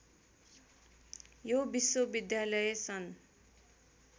यो विश्वविद्यालय सन्